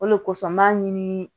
O de kosɔn n b'a ɲini